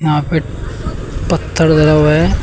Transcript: यहां पे पत्थर गड़ा हुआ है।